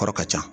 Kɔrɔ ka ca